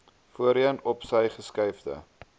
voorheen opsy geskuifde